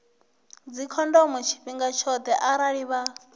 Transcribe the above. dzikhondomo tshifhinga tshoṱhe arali vha